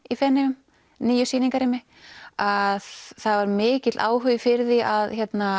í Feneyjum nýju sýningarrými að það var mikill áhugi fyrir því að